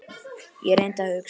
Ég reyndi að hugsa.